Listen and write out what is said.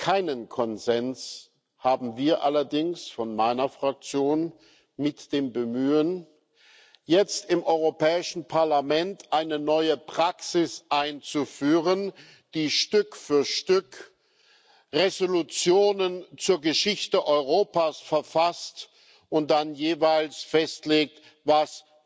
Keinen Konsens haben wir allerdings von meiner Fraktion mit dem Bemühen, jetzt im Europäischen Parlament eine neue Praxis einzuführen, dass Stück für Stück Entschließungen zur Geschichte Europas verfasst werden und dann jeweils festgelegt wird, was